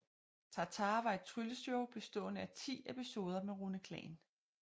TarTar var et trylleshow bestående af 10 episoder med Rune Klan